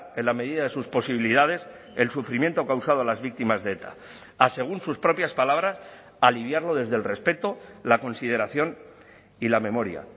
en la medida de sus posibilidades el sufrimiento causado a las víctimas de eta a según sus propias palabras aliviarlo desde el respeto la consideración y la memoria